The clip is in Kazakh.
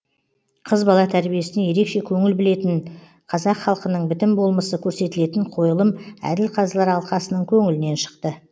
қыз бала тәрбиесіне ерекше көңіл білетін қазақ халқының бітім болмысы көрсетілетін қойылым әділ қазылар алқасының көңілінен шықты